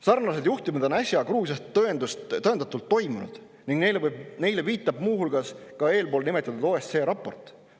Sarnaseid juhtumeid on äsja Gruusias tõendatult toimunud ning neile viitab muu hulgas ka eespool nimetatud OSCE raport.